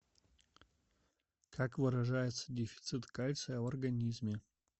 как выражается дефицит кальция в организме